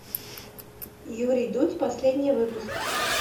юрий дудь последний выпуск